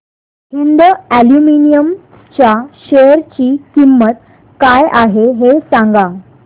Hind aluminium च्या share ची किंमत काय आहे हे सांगा